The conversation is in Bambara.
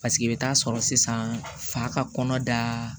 Paseke i bɛ taa sɔrɔ sisan fa ka kɔnɔ da